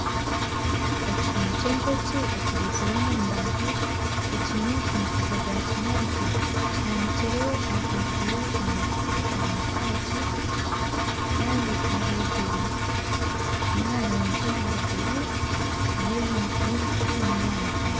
Ekihumi ky'enjoki ekibaizire omu mbaho ekiine omufundikizo gwa kinyatsi kihanikirwe ahaiguru omukiti omu kitaagi Kandi ahaiguru niharungi hariho bururu nebicu nebyamutare